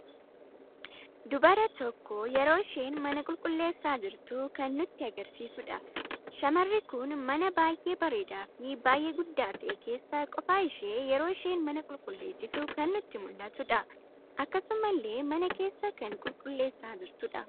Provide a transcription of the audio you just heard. Dubara tokko yeroo isheen mana qulqulleessa jirtu kan nutti agarsiisuudha. Shamarri kun mana baay'ee bareedaa fi baay'ee guddaa ta'ee keessa qofa ishee yeroo isheen mana qulqulleessitu kan nutti muldhatudha. Akkasumallee mana keessa kan qulqulleessa jirtudha.